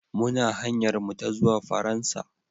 Muna hanyar mu ta zuwa Faransa.